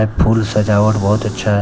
Full सजावट बहुत अच्छा है।